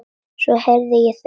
Svo heyrði ég þau hvísla.